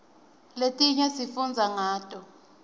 letinye sifundza ngato